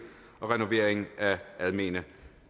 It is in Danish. og renovering af almene